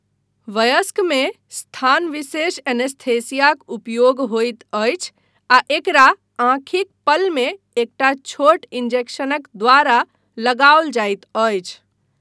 वयस्कमे स्थानविशेष एनेस्थीसियाक उपयोग होइत अछि आ एकरा आँखिक पलमे एकटा छोट इंजेक्शनक द्वारा लगाओल जाइत अछि।